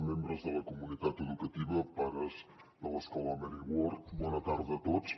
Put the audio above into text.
membres de la comunitat educativa pares de l’escola mary ward bona tarda a tots